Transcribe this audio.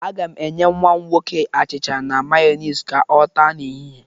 Aga m enye nnwa m nwoke achịcha na Mayonis ka ọ taa n'ehịhịe.